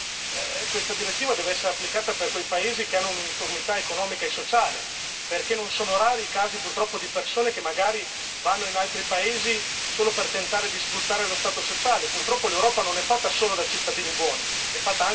Purtroppo teniamo conto che anche questa direttiva deve essere applicata per quei paesi che hanno un'uniformità economica e sociale, perché non sono rari i casi purtroppo di persone che magari vanno in altri paesi solo per tentare di sfruttare lo Stato sociale.